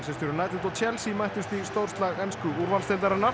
og Chelsea mættust í ensku úrvalsdeildarinnar